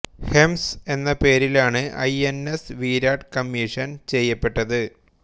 ഹെംസ് എന്ന പേരിലാണ് I N S Virat commission ചെയ്യപ്പെട്ടത്